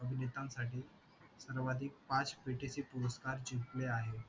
अभिनेता साठी स्राव्धिक पाच पेटे ची पुरस्कार जिंकले आहे